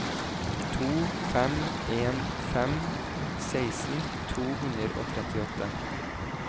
to fem en fem seksten to hundre og trettiåtte